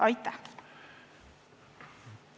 Aitäh!